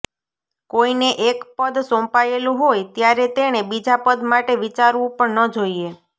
કોઈને એક પદ સોંપાયેલું હોય ત્યારે તેણે બીજા પદ માટે વિચારવું પણ ન જોઈએ